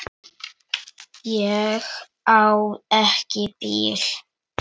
Ég á ekki bíl.